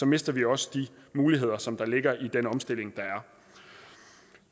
mister vi også de muligheder som ligger i den omstilling